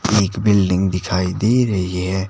एक बिल्डिंग दिखाई दे रही है।